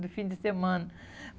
No fim de semana.